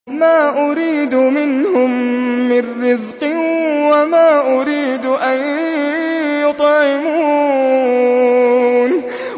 مَا أُرِيدُ مِنْهُم مِّن رِّزْقٍ وَمَا أُرِيدُ أَن يُطْعِمُونِ